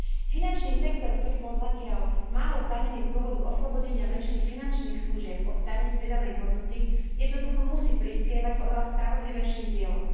Finančný sektor, ktorý bol zatiaľ málo zdanený z dôvodu oslobodenia väčšiny finančných služieb od dane z pridanej hodnoty, jednoducho musí prispievať oveľa spravodlivejším dielom.